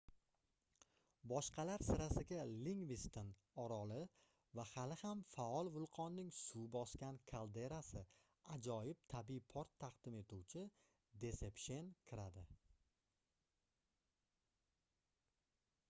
boshqalar sirasiga lingviston oroli va hali ham faol vulqonning suv bosgan kalderasi ajoyib tabiiy port taqdim etuvchi desepshen kiradi